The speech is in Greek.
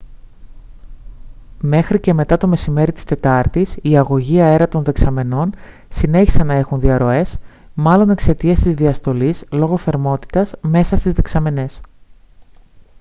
μέχρι και μετά το μεσημέρι της τετάρτης οι αγωγοί αέρα των δεξαμενών συνέχισαν να έχουν διαρροές μάλλον εξαιτίας της διαστολής λόγω θερμότητας μέσα στις δεξαμενές